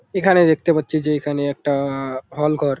এখানে দেখতে পাচ্ছি যে এখানে একটা-আ-আ হল ঘর।